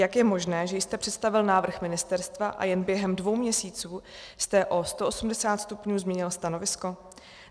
Jak je možné, že jste představil návrh ministerstva a jen během dvou měsíců jste o 180 stupňů změnil stanovisko?